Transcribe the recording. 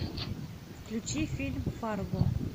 включи фильм фарго